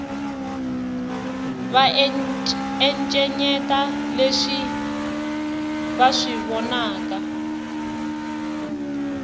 va encenyeta leswi va swi vonaka